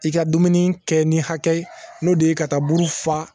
I ka dumuni kɛ ni hakɛ n'o de ye ka taa buru fa